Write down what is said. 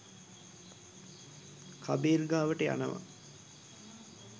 කබීර් ගාවට යනවා